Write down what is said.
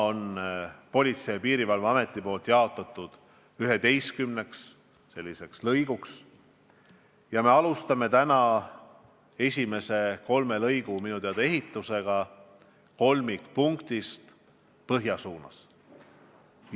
Politsei- ja Piirivalveamet on selle jaotanud üheteistkümneks lõiguks ja minu teada me alustame esimese kolme lõigu ehitusega kolmikpunktist põhja suunas.